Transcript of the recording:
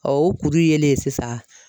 o kuru yelen sisan